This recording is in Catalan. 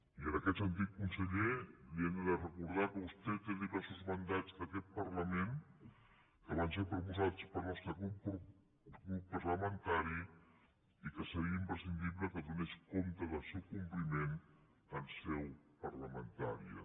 i en aquest sentit conseller li hem de recordar que vostè té diversos mandats d’aquest parlament que van ser proposats pel nostre grup parlamentari i que seria imprescindible que donés compte del seu compliment en seu parlamentària